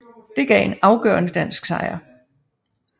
Det gav en afgørende dansk sejr